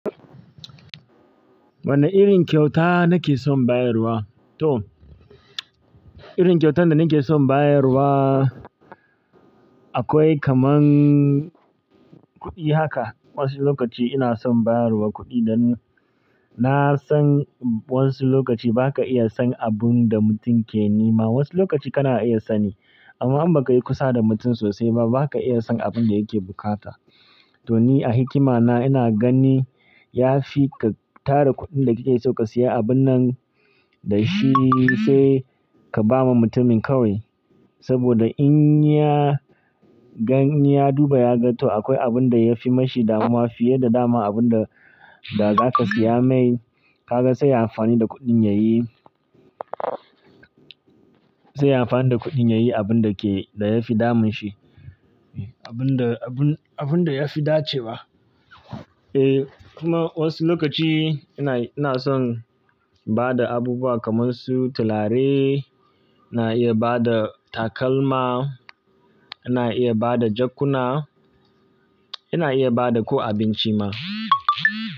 Wane irin kyauta nake son bayarwa? To, irin kyautar da nake son bayarwa akwai kaman kuɗi haka. Wasu lokaci ina son bayarwa kuɗi dan na san wasu lokaci ba ka iya san abun da mutum ke nema. Wasu lokaci kana iya sani amma in ba ka yi kusa da mutum sosai ba, ba ka iya san abin da yake bukata. To ni a hikima na ina gani ya fi ka tara kuɗin da kike so ka siya abunnan da shi sai ka ba ma mutumin kawai. Saboda in ya, gan ya duba ya ga to akwai abun da ya fi mashi dama fiye da daman abun da, da za ka siya mai, ka ga sai ya amfani da kuɗin yayi, sai ya amfani da kuɗin yayi abun da ke, da ya fi damun shi. Abun da, abun, abun da ya fi dace ba. E, kuma wasu lokaci ina, ina son ba da abubuwa kamar su talare, ina iya ba da takalma, ina iya ba da jakkuna, ina iya ba da ko abinci ma.